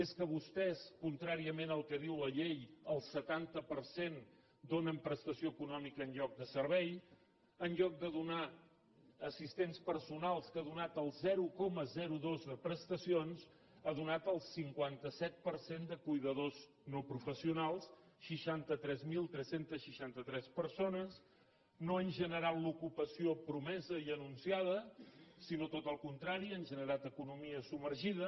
és que vostès contràriament al que diu la llei al setanta per cent donen prestació econòmica en lloc de servei en lloc de donar assistents personals que ha donat el zero coma dos de prestacions ha donat el cinquanta set per cent de cuidadors no professionals seixanta tres mil tres cents i seixanta tres persones no han generat l’ocupació promesa i anunciada sinó tot el contrari han generat economia submergida